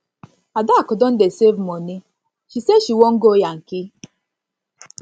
adaku don dey save moni she say she wan go yankee